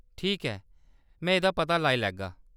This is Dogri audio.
ठीक ऐ, में एह्‌‌‌दा पता लाई लैगा।